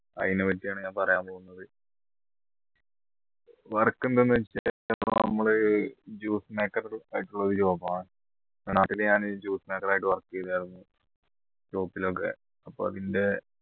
അയിനെ പറ്റിയാണ് ഞാൻ പറയാൻ പോകുന്നത് work എന്താണ് വെച്ച് കഴിഞ്ഞ നമ്മൾ juice maker job ആണ് നാട്ടിൽ ഞാൻ juice maker ആയി work ചെയ്തിരുന്നു അപ്പോ അതിൻറെ